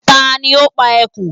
Ta ni ó pa ẹkùn?